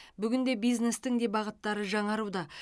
бүгінде бизнестің де бағыттары жаңаруда